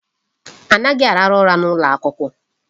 Anaghị arahụ ụra n'ụlọ akwụkwọ.